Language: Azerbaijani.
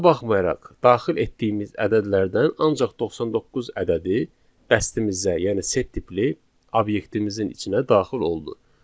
Buna baxmayaraq daxil etdiyimiz ədədlərdən ancaq 99 ədədi dəstimizə, yəni set tipli obyektimizin içinə daxil oldu.